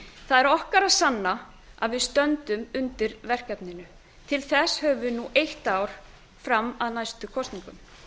það er okkar að sanna að við stöndum undir verkefninu til þess höfum við nú eitt ár það er fram að næstu kosningum